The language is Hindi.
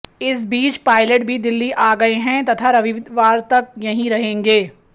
इस बीच पायलट भी दिल्ली आ गए हैं तथा रविवार तक यहीं रहेंगे